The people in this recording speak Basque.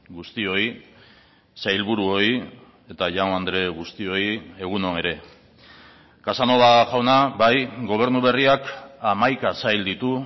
guztioi sailburuoi eta jaun andre guztioi egun on ere casanova jauna bai gobernu berriak hamaika sail ditu